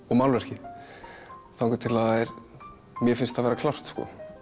og málverkið þangað til að mér finnst það vera klárt